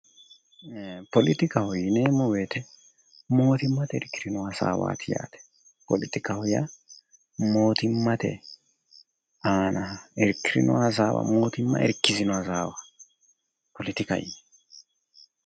Politikaho yineemmo woyite mootimmate irkirino hasaawaati yaate. Politikaho yaa mootimmate aana irkirino hasaawa mootimma irkirino hasaawa.